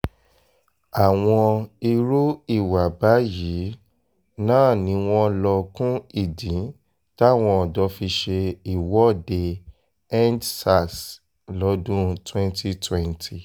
àwọn irú ìwà báyìí náà ni wọ́n lọ kún ìdí táwọn ọ̀dọ́ fi ṣe ìwọ́deendsars lọ́dún twenty twenty